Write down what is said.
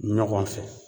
Ɲɔgɔn fɛ